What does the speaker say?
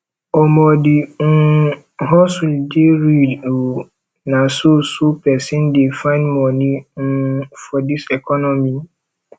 omo di um hustle dey real o na so so pesin dey find moni um for dis economy